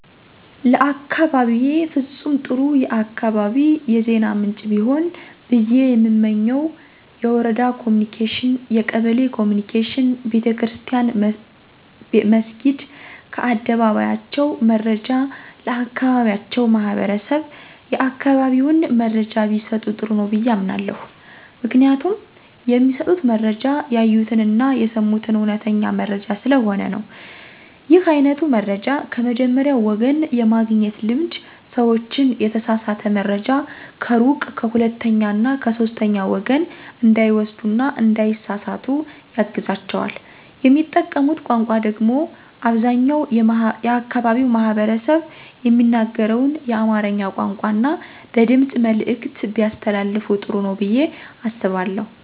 ለአካባቢየ ፍጹም ጥሩ የአካባቢ የዜና ምንጭ ቢሆን ብየ የምመኘው የወረዳ ኮምኒኬሽን፣ የቀበሌ ኮምኒኬሽን፣ ቤተክርስትያን መስኪድ ከአደባባያቸው መረጃ ለአካባቢያቸው ማህበረሰብ የአካባቢውን መረጃ ቢሰጡ ጥሩ ነው ብየ አምናለሁ። ምክንያቱም የሚሰጡት መረጃ ያዩትን አና የሰሙትን አዉነተኛ መረጃ ስለሆነ ነው። ይህ አይነቱ መረጃን ከመጀመሪያዉ ወገን የማግኘት ልምድ ሰዎችን የተሳሳተ መረጃ ከሩቅ ከሁለተኛ እና ከሶስተኛ ወገን እንዳይወስዱ እና እንዳይሳሰሳቱ ያግዛቸዋል። የሚጠቀሙት ቋንቋ ደግሞ አብዛኛው የአካባቢው ማህበረሰብ የሚናገረውን የአማርኛ ቋንቋን እና በድምጽ መልዕክት ቢያስተላልፋ ጥሩ ነው ብየ አስባለሁ።